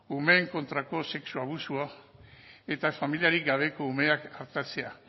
umeen kontrako sexu abusua eta familiarik gabeko umeak artatzea